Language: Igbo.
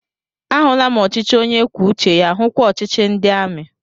Ahụla m ọchịchị onye kwuo uche ya, hukwa ọchịchị ndị amị